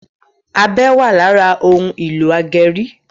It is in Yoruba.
ọbẹ wa lára òun ìlò ageri